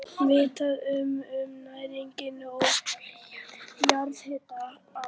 Vitað var um nægan og nýtanlegan jarðhita á